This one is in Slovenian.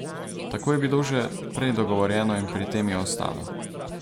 Tako je bilo že prej dogovorjeno in pri tem je ostalo.